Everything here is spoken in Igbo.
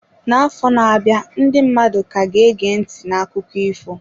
N'afọ na-abịa, ndị mmadụ ka ga-ege ntị n'akụkọ ifo.